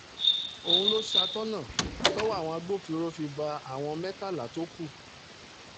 òun ló ṣàtọ̀nà tọ́wọ́ àwọn agbófinró fi bá àwọn mẹ́tàlá tó kù